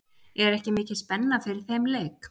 Er ekki mikil spenna fyrir þeim leik?